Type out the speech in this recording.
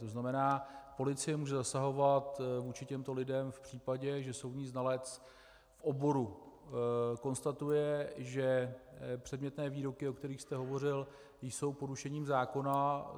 To znamená, policie může zasahovat vůči těmto lidem v případě, že soudní znalec v oboru konstatuje, že předmětné výroky, o kterých jste hovořil, jsou porušením zákona.